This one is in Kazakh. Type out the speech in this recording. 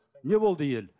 не болды ел